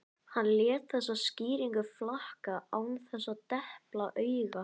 Hann lét þessa skýringu flakka án þess að depla auga.